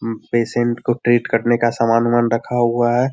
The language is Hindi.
हूं पेशेंट को ट्रीट करने का सामान उमान रखा हुआ है।